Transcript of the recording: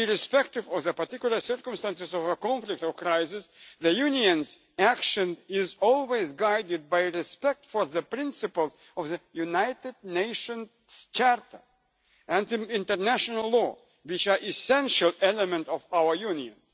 Irrespective of the particular circumstances of a conflict or crisis, the Union's action is always guided by respect for the principles of the United Nations Charter and international law, which are essential elements of our Union.